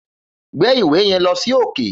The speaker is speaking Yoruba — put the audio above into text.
Gbe ìwé yen lọ sí òkè